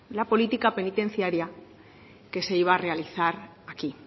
la política penitenciaria que se iba a realizar aquí